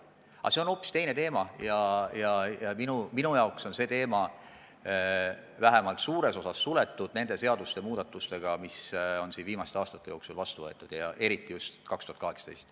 Aga see on hoopis teine teema ja minu jaoks on see teema vähemalt suures osas suletud nende seadusmuudatustega, mis on siin vastu võetud viimaste aastate jooksul, eriti just 2018.